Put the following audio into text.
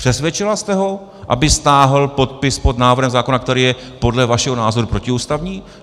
Přesvědčila jste ho, aby stáhl podpis pod návrhem zákona, který je podle vašeho názoru protiústavní?